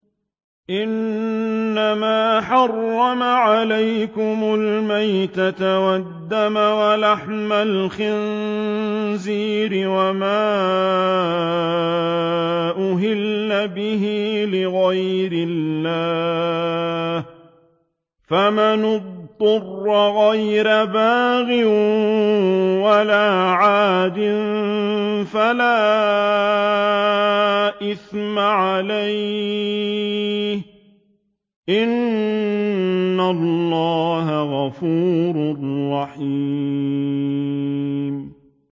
إِنَّمَا حَرَّمَ عَلَيْكُمُ الْمَيْتَةَ وَالدَّمَ وَلَحْمَ الْخِنزِيرِ وَمَا أُهِلَّ بِهِ لِغَيْرِ اللَّهِ ۖ فَمَنِ اضْطُرَّ غَيْرَ بَاغٍ وَلَا عَادٍ فَلَا إِثْمَ عَلَيْهِ ۚ إِنَّ اللَّهَ غَفُورٌ رَّحِيمٌ